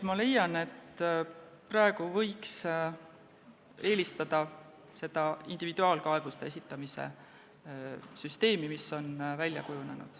Ma leian, et praegu võiks eelistada seda individuaalkaebuste esitamise süsteemi, mis on välja kujunenud.